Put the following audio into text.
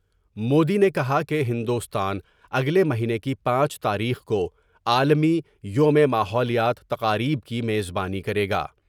مودی نے کہا کہ ہندوستان اگلے مہینے کی پانچ تاریخ کو عالمی یوم ماحولیات تقاریب کی میز بانی کرے گا ۔